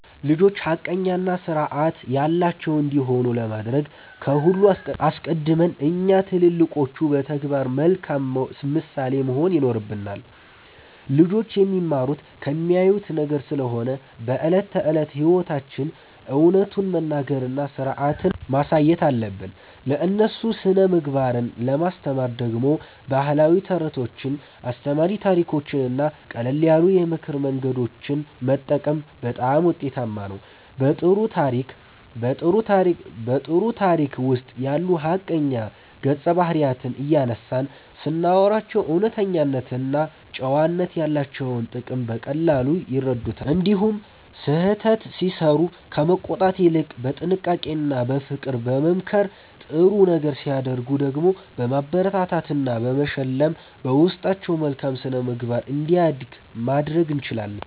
ልጆች ሐቀኛና ሥርዓት ያላቸው እንዲሆኑ ለማድረግ ከሁሉ አስቀድሞ እኛ ትልልቆቹ በተግባር መልካም ምሳሌ መሆን ይኖርብናል። ልጆች የሚማሩት ከሚያዩት ነገር ስለሆነ በዕለት ተዕለት ሕይወታችን እውነቱን መናገርና ሥርዓትን ማሳየት አለብን። ለእነሱ ሥነ-ምግባርን ለማስተማር ደግሞ ባህላዊ ተረቶችን፣ አስተማሪ ታሪኮችንና ቀለል ያሉ የምክር መንገዶችን መጠቀም በጣም ውጤታማ ነው። በጥሩ ታሪክ ውስጥ ያሉ ሐቀኛ ገጸ-ባህሪያትን እያነሳን ስናወራላቸው እውነተኝነትና ጨዋነት ያላቸውን ጥቅም በቀላሉ ይረዱታል። እንዲሁም ስህተት ሲሠሩ ከመቆጣት ይልቅ በጥንቃቄና በፍቅር በመምከር፣ ጥሩ ነገር ሲያደርጉ ደግሞ በማበረታታትና በመሸለም በውስጣቸው መልካም ሥነ-ምግባር እንዲያድግ ማድረግ እንችላለን።